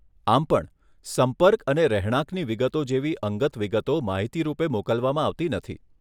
આમ પણ, સંપર્ક અને રહેણાંકની વિગતો જેવી અંગત વિગતો માહિતી રૂપે મોકલવામાં આવતી નથી